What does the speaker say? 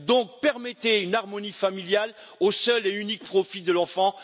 Donc, permettez une harmonie familiale au seul et unique profit de l'enfant.